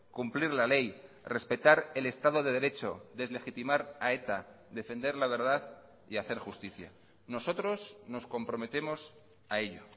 cumplir la ley respetar el estado de derecho deslegitimar a eta defender la verdad y hacer justicia nosotros nos comprometemos a ello